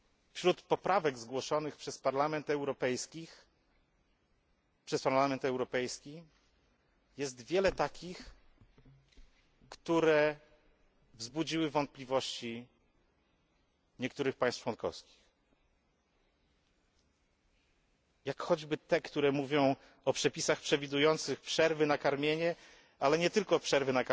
Wśród poprawek zgłoszonych przez Parlament Europejski jest wiele takich, które wzbudziły wątpliwości niektórych państw członkowskich, jak choćby te, które mówią o przepisach przewidujących przerwy na karmienie, ale nie tylko,